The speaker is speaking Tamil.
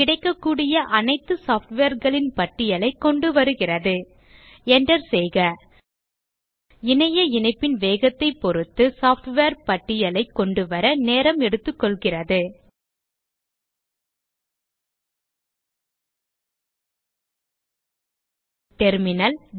கிடைக்கக்கூடிய அனைத்து softwareகளின் பட்டியலைக் கொண்டுவருகிறது enter செய்க இணைய இணைப்பின் வேகத்தைப் பொருத்து சாஃப்ட்வேர் பட்டியலைக் கொண்டுவர நேரம் எடுத்துக்கொள்கிறது டெர்மினல்